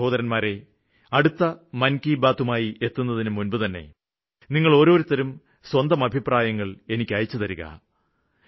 പ്രിയപ്പെട്ട സഹോദരന്മാരെ അടുത്ത മന് കി ബാത്ത്മായി എത്തുന്നതിനുമുമ്പുതന്നെ നിങ്ങള് ഓരോരുത്തരും സ്വന്തം അഭിപ്രായങ്ങള് എനിക്ക് അയച്ചുതരിക